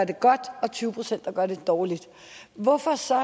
det godt og at tyve procent gør det dårligt hvorfor så